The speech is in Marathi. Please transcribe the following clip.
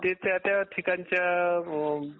ते त्या त्या ठिकाणच्या अ्म